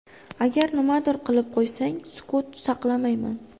Agar nimadir qilib qo‘ysang, sukut saqlamayman.